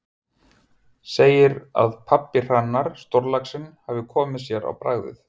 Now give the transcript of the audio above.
Segir að pabbi Hrannar, stórlaxinn, hafi komið sér á bragðið.